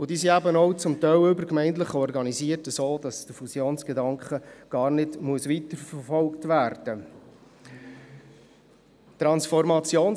Zudem sind die beiden Gemeinden übergemeindlich so organisiert, dass der Fusionsgedanke gar nicht weiterverfolgt werden muss.